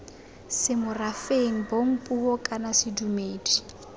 semorafeng bong puo kana sedumedi